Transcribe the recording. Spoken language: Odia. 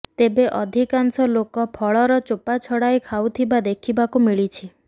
ତେବେ ଅଧିକାଂଶ ଲୋକ ଫଳର ଚୋପା ଛଡ଼ାଇ ଖାଉଥିବା ଦେଖିବାକୁ ମିଳିଛି